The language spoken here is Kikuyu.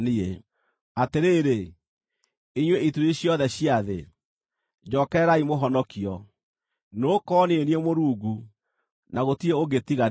“Atĩrĩrĩ, inyuĩ ituri ciothe cia thĩ, njookererai mũhonokio, nĩgũkorwo niĩ nĩ niĩ Mũrungu, na gũtirĩ ũngĩ tiga niĩ.